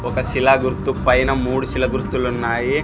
ఒక శిలా గుర్తు పైన మూడు శిల గుర్తులున్నాయి.